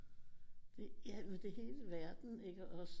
Ja men det er hele verden ikke også